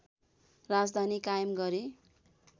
राजधानी कायम गरे